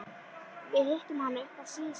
Við hittum hana uppi á Slysadeild.